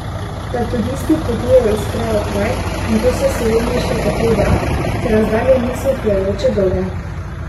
Da turisti potujejo iz kraja v kraj, in to se v Sloveniji še kako da, ker razdalje niso utrujajoče dolge.